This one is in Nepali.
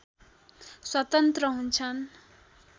स्वतन्त्र हुन्छन्